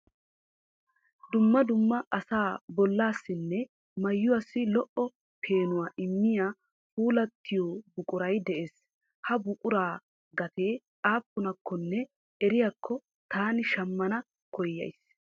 Dumma dumma asa bollasinne maayuwassi lo"o peenuwa immiyaa puulatiyo buquray de'ees. Ha buquraa gatee aappunakkonne eriyaako taani shammana koyyas .